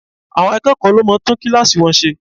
Àwọn akẹ́kọ̀ọ́ ló máa ń tún kíláàsì wọn ṣe.